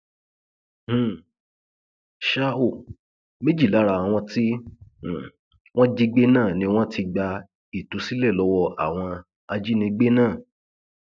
um ṣá ò méjì lára àwọn tí um wọn jí gbé náà ni wọn ti gba ìtúsílẹ lọwọ àwọn ajínigbé náà